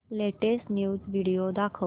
latest news video दाखव